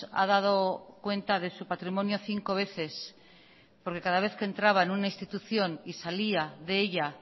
ha dado cuenta de su patrimonio cinco veces porque cada vez que entraba en una institución y salíade ella